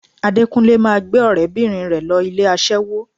Adékúnlé máa gbé ọ̀rẹ́bìnrin rẹ̀ lọ ilé aṣẹ́wó